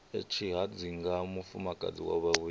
ya tshihadzinga mufumakadzi wa vhuvhili